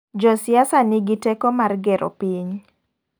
Jo siasa nigi teko mar gero piny.